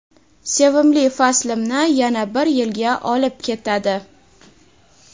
sevimli faslimni yana bir yilga olib ketadi.